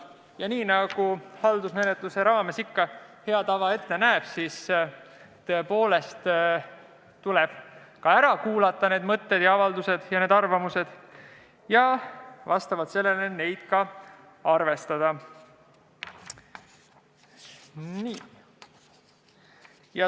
Ja nii nagu haldusmenetluse hea tava ette näeb, tuleb need mõtted, avaldused ja arvamused tõepoolest ära kuulata ning vastavalt sellele neid ka arvestada.